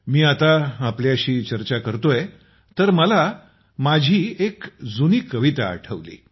जेव्हा मी आपल्याशी चर्चा करत आहे तर मला एक जुनी कविता आठवत आहे